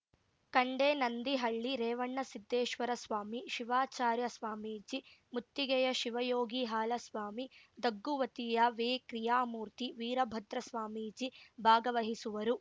ಕಂಡೇನಂದಿಹಳ್ಳಿ ರೇವಣಸಿದ್ಧೇಶ್ವರ ಸ್ವಾಮಿ ಶಿವಾಚಾರ್ಯ ಸ್ವಾಮೀಜಿ ಮುತ್ತಿಗೆಯ ಶಿವಯೋಗಿ ಹಾಲಸ್ವಾಮಿ ದಗ್ಗುವತಿಯ ವೇಕ್ರಿಯಾಮೂರ್ತಿ ವೀರಭದ್ರ ಸ್ವಾಮೀಜಿ ಭಾಗವಹಿಸುವರು